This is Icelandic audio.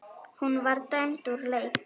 Hún var dæmd úr leik.